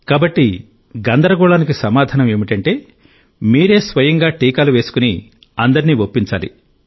కాబట్టి గందరగోళానికి సమాధానం ఏమిటంటే మీరే స్వయంగా టీకాలు వేసుకుని అందరినీ ఒప్పించాలి